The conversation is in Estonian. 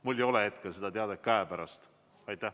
Mul ei ole hetkel seda teadet käepärast.